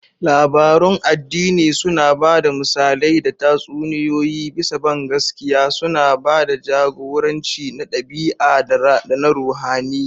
Labarun addini suna ba da misalai da tatsuniyoyi bisa bangaskiya, suna ba da jagoranci na ɗabi'a da na ruhaniya.